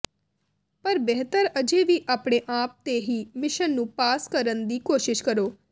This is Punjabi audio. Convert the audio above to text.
ਪਰ ਬਿਹਤਰ ਅਜੇ ਵੀ ਆਪਣੇ ਆਪ ਤੇ ਹੀ ਮਿਸ਼ਨ ਨੂੰ ਪਾਸ ਕਰਨ ਦੀ ਕੋਸ਼ਿਸ਼ ਕਰੋ